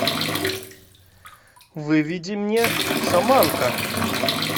выведи мне шаманка